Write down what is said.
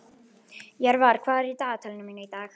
Jörvar, hvað er í dagatalinu mínu í dag?